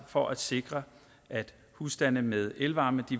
for at sikre at husstande med elvarme